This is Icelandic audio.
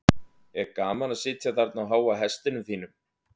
er gaman að sitja þarna á háa hestinum þínum